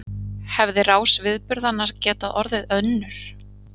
Hefði rás viðburðanna getað orðið önnur?